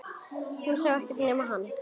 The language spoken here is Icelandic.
Hún sá ekkert nema hann!